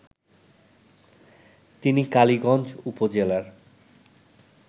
তিনি কালীগঞ্জ উপজেলার